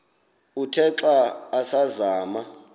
uthe xa asazama